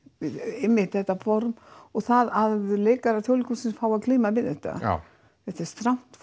einmitt þetta form og það að leikarar Þjóðleikhússins fái að glíma við þetta já þetta er strangt